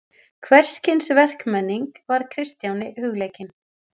Hvers kyns verkmenning var Kristjáni hugleikin.